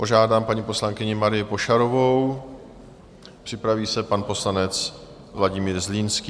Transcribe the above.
Požádám paní poslankyni Marii Pošarovou, připraví se pan poslanec Vladimír Zlínský.